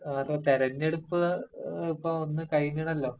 അതാ, തെരെഞ്ഞെടുപ്പ് ഇപ്പൊ ഒന്ന് കഴിഞ്ഞണല്ലോ..